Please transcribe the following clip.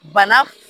Bana